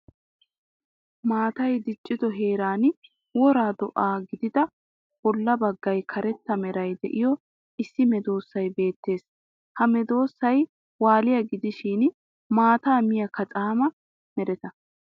Maatay diccido heeran wora do'a gidida bolla baggay karetta meray de'iyo issi medoossay beettes. Ha medoossay waaliya gidishin maattaa miya kacaama mereta.